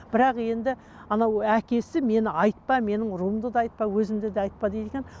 бірақ енді анау әкесі мені айтпа менің руымды да айтпа өзімді де айтпа дейді екен